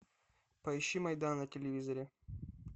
поищи майдан на телевизоре